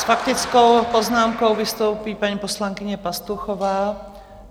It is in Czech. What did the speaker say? S faktickou poznámkou vystoupí paní poslankyně Pastuchová.